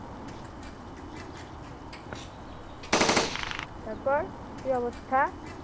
তারপর কী অবস্থা?